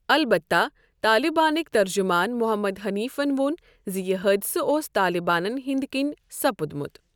البتہ، طالِبانٕکۍ ترجمان "محمد حٔنیٖفن "ووٚن زِ یہِ حٲدِثہٕ اوس طالِبانن ہندۍ كِنۍ سپٗدمٗت ۔